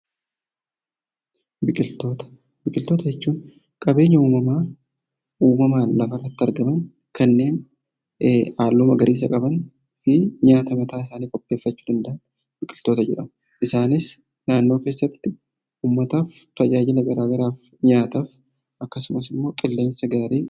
Biqiltoota Biqiltoota jechuun qabeenya uumamaa uumamaan lafarratti argaman, kanneen halluu magariisa qaban fi nyaata mataa isaanii qopheeffachuu danda'an biqiltoota jedhamu. Isaanis naannoo keessatti ummataaf tajaajila garaagaraaf nyaataaf akkasumas immoo qilleensa gaarii....